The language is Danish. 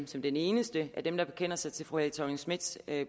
som den eneste af dem der bekender sig til fru helle thorning schmidts